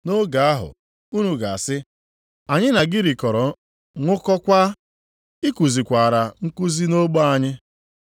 “Nʼoge ahụ, unu ga-asị, ‘Anyị na gị rikọrọ, ṅụkọkwaa, ị kuzikwara nkuzi nʼogbe anyị.’